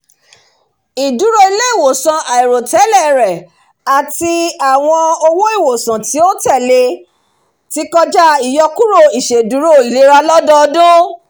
ìdúró ilé-iwòsàn àìròtẹ́lẹ̀ rẹ àti àwọn owó ìwòsàn tí ó tẹ̀lé ti kọjá ìyọkúrò iṣèdúró ilera lọ́dọdún